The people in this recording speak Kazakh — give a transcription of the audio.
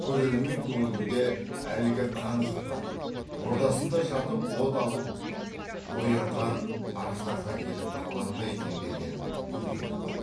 көрермен көңілінде әлгі қан жұтқан ордасында жатып от алып оянған аждаһа келіп қалар ма екен деген үрей туады